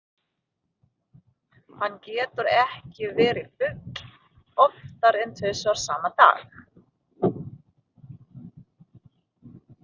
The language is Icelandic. Hann getur ekki verið fugl oftar en þrisvar sama dag.